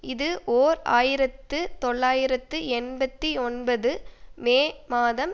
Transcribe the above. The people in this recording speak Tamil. இது ஓர் ஆயிரத்து தொள்ளாயிரத்து எண்பத்தி ஒன்பது மே மாதம்